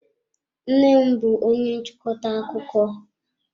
Nnem bú onye nchịkọta akụkọ.